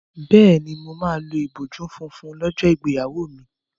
Bẹ́ẹ̀ni, mo máa lo ìbòjú funfun lọ́jọ́ ìgbéyàwó mi.